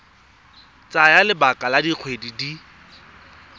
tsaya lebaka la dikgwedi di